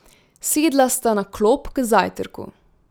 Sedla sta na klop k zajtrku.